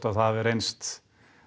það hafi reynst